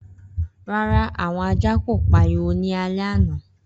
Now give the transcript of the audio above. Rara, awọn ajá ko pariwo ni alẹ ana.